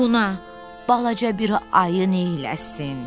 Buna balaca bir ayı neyləsin?